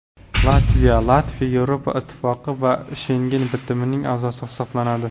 Latviya Latviya Yevropa Ittifoqi va Shengen bitimining a’zosi hisoblanadi.